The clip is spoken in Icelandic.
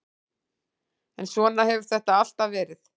En svona hefur þetta alltaf verið.